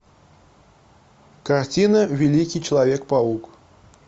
картина великий человек паук